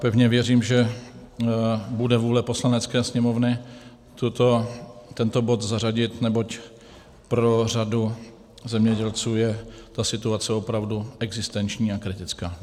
Pevně věřím, že bude vůle Poslanecké sněmovny tento bod zařadit, neboť pro řadu zemědělců je ta situace opravdu existenční a kritická.